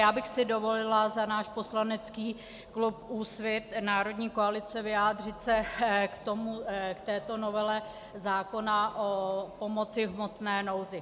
Já bych si dovolila za náš poslanecký klub Úsvit - Národní koalice vyjádřit se k této novele zákona o pomoci v hmotné nouzi.